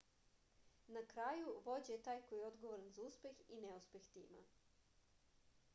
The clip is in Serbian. na kraju vođa je taj koji je odgovoran za uspeh i neuspeh tima